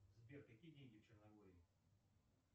сбер какие деньги в черногории